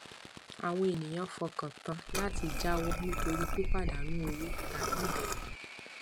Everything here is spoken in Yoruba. àwọn ènìyàn fọkàn tán láti jáwọ nítorí pípadànù owó tàbí ìbẹrù